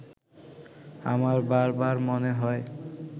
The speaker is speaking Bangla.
আমার বারবার মনে হয়